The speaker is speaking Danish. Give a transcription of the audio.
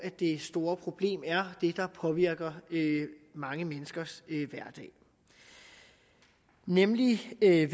det store problem er det der påvirker mange menneskers hverdag nemlig ved at